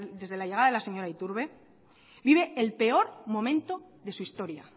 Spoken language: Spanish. desde la llegada de la señora iturbe vive el peor momento de su historia